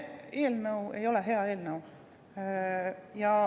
See eelnõu ei ole hea eelnõu.